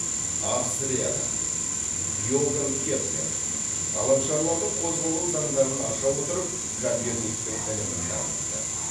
австрияда иоганн кеплер ғаламшарлардың қозғалу заңдарын аша отырып коперниктің ілімін дамытты